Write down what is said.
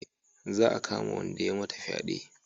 Za a kama wanda ya mata fyade